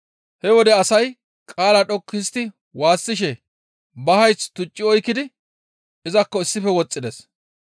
He wode asay qaala dhoqqu histti waassishe ba hayth tucci oykkidi izakko issife woxxides.